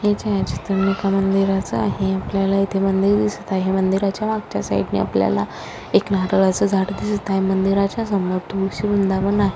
हे छायाचित्र एका मंदिराच आहे आपल्याला येथे मंदिर दिसत आहे मंदिराच्या मागच्या साइडनी आपल्याला एक नारळाच झाड दिसत आहे मंदिराच्या समोर तुळशी वृंदावन आहे.